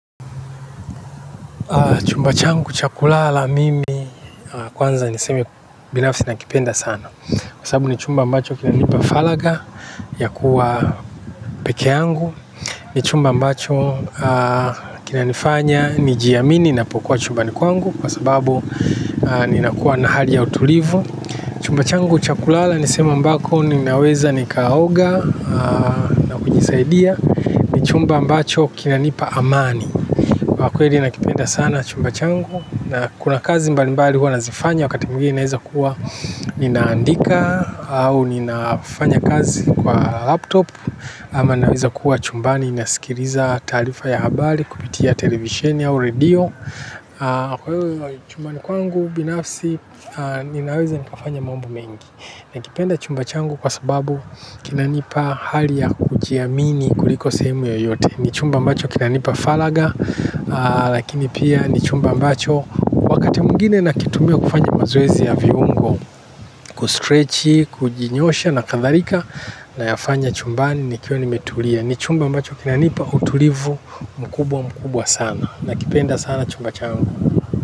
Chumba changu chakulala mimi kwanza nisemi binafsi nakipenda sana. Kwa sababu ni chumba mbacho kina nipa falagha ya kuwa peke angu. Ni chumba mbacho kina nifanya ni jiamini na pokua chumba nikuangu kwa sababu ni nakuwa na hali ya utulivu. Chumba changu chakulala nisemi mbako ninaweza nikaoga na kujisaidia. Chumba mbacho kina nipa amani. Kwa kweli nakipenda sana chumba changu na kuna kazi mbali mbali huwa nazifanya wakati mwingine inaweza kuwa ninaandika au ninafanya kazi kwa laptop ama naweza kuwa chumba ni inasikiriza taarifa ya habari kupitia televisheni au redio. Kwa hiyo chumba ni kwangu binafsi ninaweza nikafanya mambo mengi. Na kipenda chumba changu kwa sababu kinanipa hali ya kujiamini kuliko sehemu yoyote. Ni chumba mbacho kinanipa falagha. Lakini pia ni chumba mbacho wakati mwingine nakitumia kufanya mazoezi ya viungo Kustretchi, kujinyosha na kadharika na yafanya chumba ni nikio nimetulia. Ni chumba mbacho kinanipa utulivu mkubwa mkubwa sana. Na kipenda sana chumba changu.